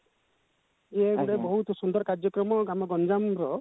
ଯେ ଗୋଟେ ବହୁତ ସୁନ୍ଦର କାର୍ଯ୍ୟକ୍ରମ ଆମ ଗଞ୍ଜାମ ର